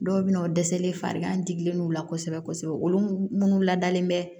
Dɔw bɛ na o dɛsɛlen farikan digilenw la kosɛbɛ kosɛbɛ olu minnu ladalen bɛ